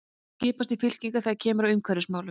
Þeir skiptast í fylkingar þegar kemur að umhverfismálum.